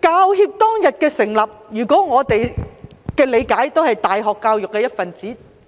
教協當天的成立，據我們的理解，我們大學教育也是